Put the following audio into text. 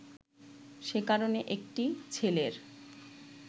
সে কারণে একটি ছেলের